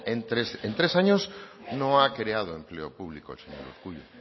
en tres años no ha creado empleo público el señor urkullu